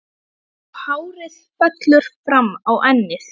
Og hárið fellur fram á ennið.